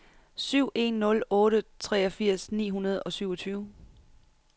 syv en nul otte treogfirs ni hundrede og syvogtyve